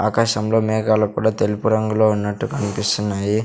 ఆకాశంలో మేఘాలు కూడా తెలుపు రంగులో ఉన్నట్టు కన్పిస్తున్నాయి.